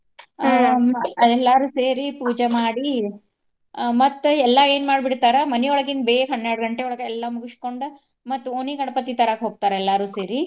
ಎಲ್ಲಾರು ಸೇರಿ ಪೂಜೆ ಮಾಡಿ ಆ ಮತ್ತ ಎಲ್ಲಾ ಏನ್ ಮಾಡಿ ಬಿಡ್ತಾರ ಮನಿಯೊಳಗಿನ್ ಬೇಗ ಹನ್ನೆರಡ್ ಗಂಟೆಯೊಳಗ ಎಲ್ಲಾ ಮುಗಸ್ಕೊಂಡ ಮತ್ತ್ ಓಣಿ ಗಣಪತಿ ತರಾಕ್ ಹೋಗ್ತಾರ ಎಲ್ಲಾರು ಸೇರಿ.